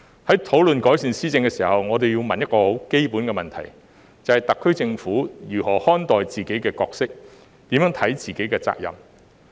在討論改善施政時，我要問一個很基本的問題，便是特區政府如何看待自己的角色、如何看待自己的責任？